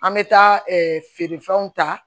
An bɛ taa feerefɛnw ta